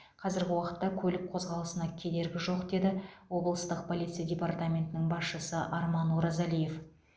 қазіргі уақытта көлік қозғалысына кедергі жоқ деді облыстық полиция департаментінің басшысы арман оразалиев